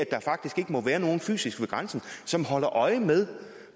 der faktisk ikke må være nogen fysisk ved grænsen som holder øje med